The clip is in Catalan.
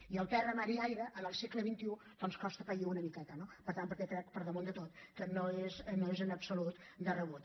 i el terra mar i aire en el segle xxi doncs costa pair una miqueta no per tant perquè crec per damunt de tot que no és en absolut de rebut